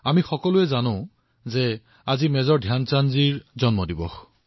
আমি সকলোৱে জানো যে আজি মেজৰ ধ্যান চাঁদজীৰ জন্ম জয়ন্তী